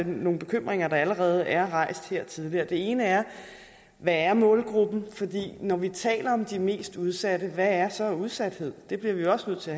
nogle bekymringer der allerede er rejst her tidligere det ene er hvad er målgruppen når vi taler om de mest udsatte hvad er så udsathed det bliver vi også nødt til